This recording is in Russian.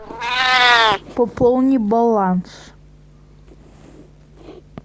пополни баланс